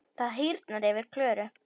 Það hýrnar yfir Klöru.